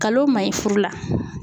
Nkalon o man ɲi furu la